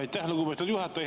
Aitäh, lugupeetud juhataja!